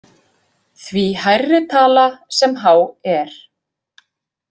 Því hærri tala sem H er.